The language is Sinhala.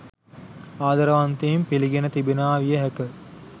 ආදරවන්තයින් පිළිගෙන තිබෙනවා විය හැක.